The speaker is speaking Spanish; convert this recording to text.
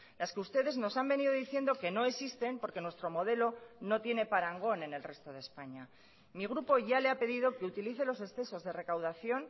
las que ustedes nos han venido diciendo que no existen porque nuestro modelo no tiene parangón en el resto de españa mi grupo ya le ha pedido que utilice los excesos de recaudación